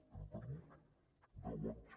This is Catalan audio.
hem perdut deu anys